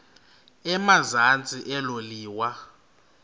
emazantsi elo liwa